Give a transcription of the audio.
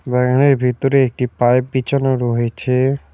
বাগানের ভিতরে একটি পাইপ বিছানো রয়েছে।